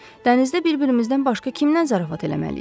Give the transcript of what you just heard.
Dənizdə bir-birimizdən başqa kimdən zarafat eləməliyik?